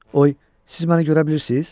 Oy, siz məni görə bilirsiniz?